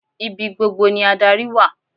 Ibi gbogbo ni adarí wà.